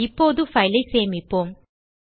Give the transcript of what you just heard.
இப்போது பைல் ஐ சேமிப்போம்